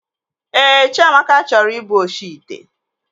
Ee, Chiamaka chọrọ ị bụ oshi ite